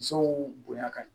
Musow bonya ka ɲi